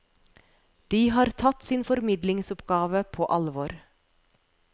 De har tatt sin formidlingsoppgave på alvor.